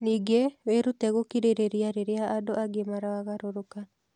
Ningĩ, wĩrute gũkirĩrĩria rĩrĩa andũ angĩ maragarũrũka.